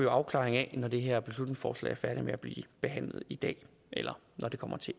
afklaring af når det her beslutningsforslag er færdig med at blive behandlet i dag eller når det kommer til